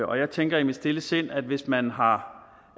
og jeg tænker i mit stille sind at hvis man har